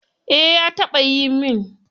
Eh ya taɓayi min.